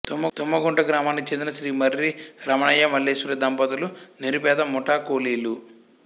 తుమ్మగుంట గ్రామానికి చెందిన శ్రీ మర్రి రమణయ్య మల్లీశ్వరి దంపతులు నిరుపేద ముఠా కూలీలు